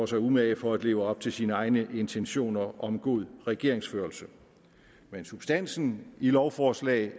sig umage for at leve op til sine egne intentioner om god regeringsførelse men substansen i lovforslag